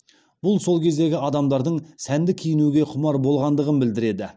бұл сол кездегі адамдардың сәнді киінуге құмар болғандығын білдіреді